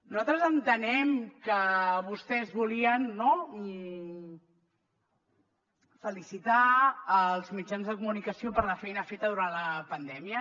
nosaltres entenem que vostès volien felicitar els mitjans de comunicació per la feina feta durant la pandèmia